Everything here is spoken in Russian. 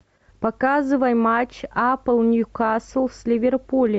показывай матч апл ньюкасл с ливерпулем